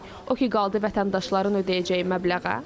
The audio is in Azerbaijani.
O ki qaldı vətəndaşların ödəyəcəyi məbləğə.